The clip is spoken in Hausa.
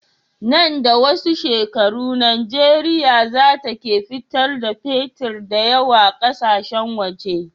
Nan da wasu shekaru nigeria zata ke fitar da fetir dayawa ƙasashen waje